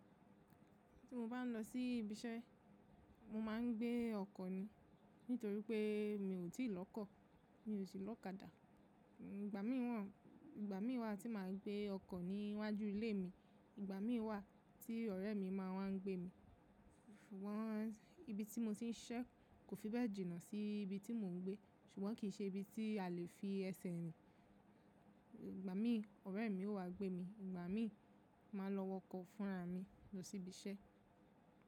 Tí mo bá ń lọ sí ibi iṣẹ́, mo máa ń gbé ọkọ̀ ni, nítorí pé mi ò tí ì lọ́kọ̀, mi ò sì lọ́kadà. Ìgbà mí wà, Ìgbà mí wà tí màá gbé ọkọ̀ níwájú ilé mi, ìgbà mí wà tí ọ̀rẹ́ mi máa wań gbé mi. Wọ́n ibi tí mo ti ń ṣiṣẹ́ kò fi bẹ́ẹ̀ jìnnà sí ibi tí mò ń gbé, ṣùgbọ́n kì í ṣe ibi tí a lè fi ẹsẹ̀ rìn. Ìgbà mí ọ̀rẹ́ mi ó wa gbé mi, ìgbà mí máa lọ wọkọ̀ fúnra mi lọ sí ibi iṣẹ́.